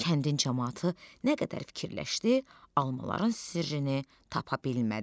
Kəndin camaatı nə qədər fikirləşdi, almaların sirrini tapa bilmədi.